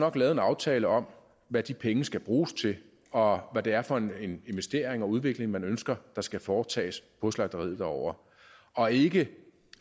også lavet en aftale om hvad de penge skal bruges til og hvad det er for en investering og udvikling man ønsker der skal foretages på slagteriet derovre og ikke